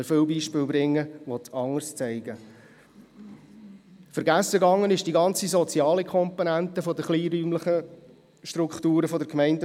Wir könnten aber viele Beispiele bringen, die das Gegenteil beweisen.